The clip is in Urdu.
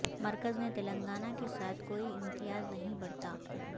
مرکز نے تلنگانہ کے ساتھ کوئی امتیاز نہیں برتا